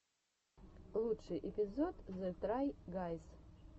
лучший эпизод зе трай гайз